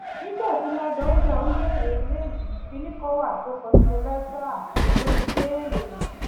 nígbà tí ládónjá ń béèrè ilé yìí kinní kan wà tó kọ sínú lẹtà tó fi béèrè